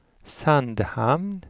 Sandhamn